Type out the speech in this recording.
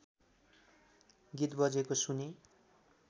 गीत बजेको सुनेँ